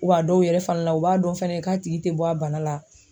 Wa dɔw yɛrɛ fana la u b'a dɔn fɛnɛ k'a tigi te bɔ a bana la